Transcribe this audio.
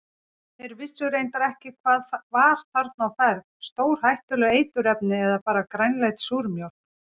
Þeir vissu reyndar ekki hvað var þarna á ferð, stórhættuleg eiturefni eða bara grænleit súrmjólk?